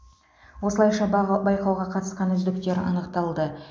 осылайша баға байқауға қатысқан үздіктер анықталды